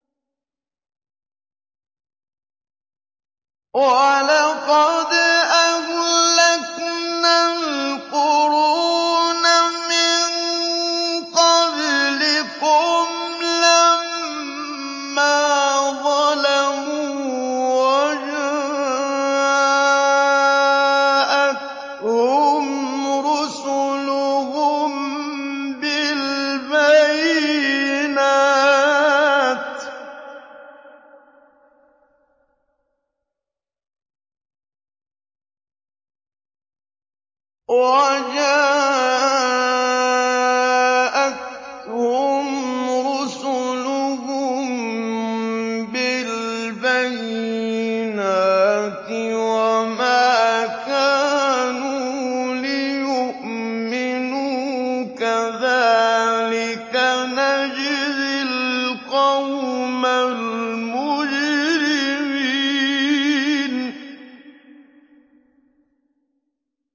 وَلَقَدْ أَهْلَكْنَا الْقُرُونَ مِن قَبْلِكُمْ لَمَّا ظَلَمُوا ۙ وَجَاءَتْهُمْ رُسُلُهُم بِالْبَيِّنَاتِ وَمَا كَانُوا لِيُؤْمِنُوا ۚ كَذَٰلِكَ نَجْزِي الْقَوْمَ الْمُجْرِمِينَ